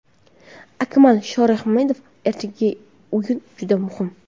Akmal Shorahmedov: Ertangi o‘yin juda muhim.